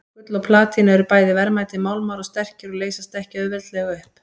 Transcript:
Gull og platína eru bæði verðmætir málmar og sterkir og leysast ekki auðveldlega upp.